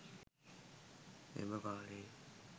එම කාලයේ